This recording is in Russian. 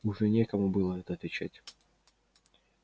уже некому было это отвечать